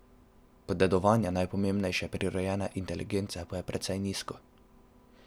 Posedovanje najpomembnejše prirojene inteligence pa je precej nizko.